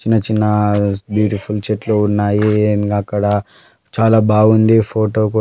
చిన్న చిన్న బ్యూటిఫుల్ చెట్లు ఉన్నాయి. ఇంకా అక్కడ చాలా బాగుంది. ఫోటో కూడా--